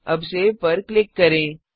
अब saveसेव पर क्लिक करें